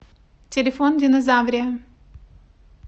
телефон динозаврия